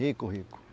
Rico, rico.